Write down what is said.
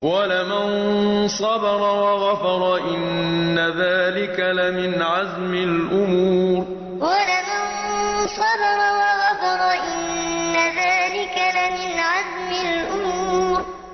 وَلَمَن صَبَرَ وَغَفَرَ إِنَّ ذَٰلِكَ لَمِنْ عَزْمِ الْأُمُورِ وَلَمَن صَبَرَ وَغَفَرَ إِنَّ ذَٰلِكَ لَمِنْ عَزْمِ الْأُمُورِ